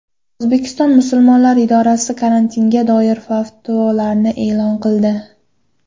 O‘zbekiston musulmonlari idorasi karantinga doir fatvolarni e’lon qildi.